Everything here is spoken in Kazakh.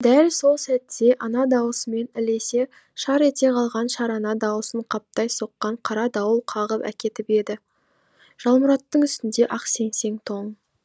дәл сол сәтте ана даусымен ілесе шар ете қалған шарана даусын қаптай соққан қара дауыл қағып әкетіп еді жалмұраттың үстінде ақ сеңсең тоң